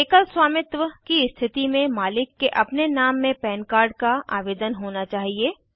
एकल स्वामित्व की स्थति में मालिक के अपने नाम में पन कार्ड का आवेदन होना चाहिए